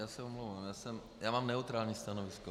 Já se omlouvám, já mám neutrální stanovisko.